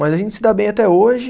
Mas a gente se dá bem até hoje.